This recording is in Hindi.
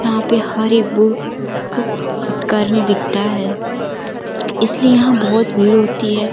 यहाँ पे हर एक बुक फुटकर में बिकता है। इसलिए यहाँ बोहोत भीड़ होती है।